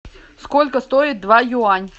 сколько стоит два юань